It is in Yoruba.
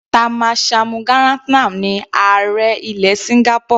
Tharman Shanmugaratnam ní ààrẹ ilẹ̀ Singapore.